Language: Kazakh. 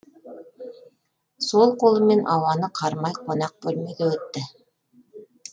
сол қолымен ауаны қармай қонақ бөлмеге өтті